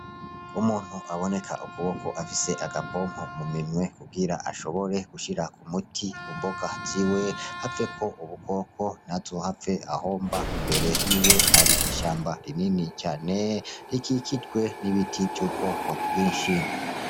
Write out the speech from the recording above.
Umuntu aboneka ukuboko afise agapompo mu minwe, kugira ashobore gushirako umuti ku mboga ziwe, haveko ubukoko, ntazohave ahomba, imbere yiwe hari ishamba rinini cane, rikikijwe n'ibiti vy'ubwoko bwinshi.